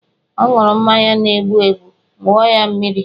O ṅụrụ mmanya na-egbu egbu, wụọ ya mmiri!